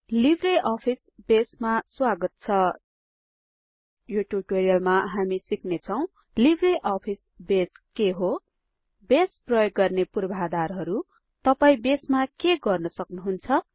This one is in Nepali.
लिब्रे अफिस बेसमा स्वागत छ यो ट्युटोरियलमा हामी सिक्नेछौं लिब्रे अफिस बेस के हो बेस प्रयोग गर्ने पूर्वाधारहरु तपाई बेसमा के गर्न सक्नुहुन्छ